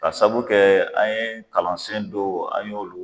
K'a saabu kɛ an ye kalansen dow an y'olu